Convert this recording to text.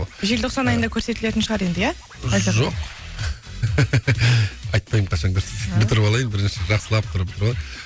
желтоқсан айында көрсетілетін шығар енді иә жоқ айтпаймын қашан көрсететінін бітіріп алайын бірінші жақсылап тұрып